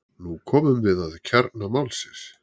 Nú komum við að kjarna málsins.